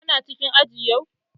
Kana cikin aji yau?